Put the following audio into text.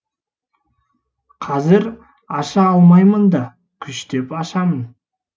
қазір аша алмаймын да күштеп ашамын